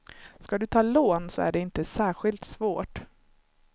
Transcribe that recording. Ska du ta lån så är det inte särskilt svårt.